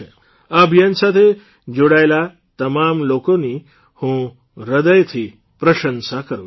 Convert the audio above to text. આ અભિયાન સાથે જોડાયેલા તમામ લોકોની હું હૃદયથી પ્રશંસા કરૂં છું